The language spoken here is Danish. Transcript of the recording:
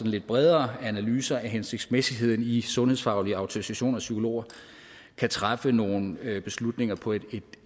lidt bredere analyser af hensigtsmæssigheden i sundhedsfaglig autorisation af psykologer kan træffe nogle beslutninger på et